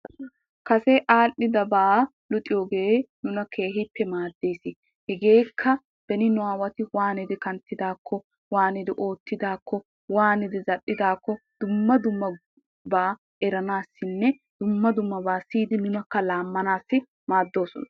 Kase arhidabaa luxiyogee nuna kehippe madees, hegekkaa beni nu awaatti wannidi kanttidako wannidi ottidaako wannidi za'alidako dumma dumma eranassinne dumma dumma siyiddi nunaka lamanassi madosonna.